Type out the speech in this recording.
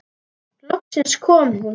Loksins kom hún.